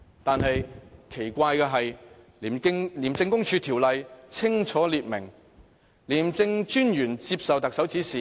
但是，奇怪的是，《廉政公署條例》清楚訂明，廉政專員接受特首指示。